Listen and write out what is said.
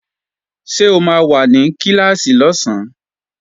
Ṣé o máa wà ní Kíláàsì lọ́sán?